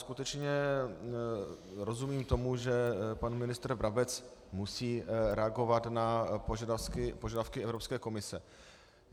Skutečně rozumím tomu, že pan ministr Brabec musí reagovat na požadavky Evropské komise.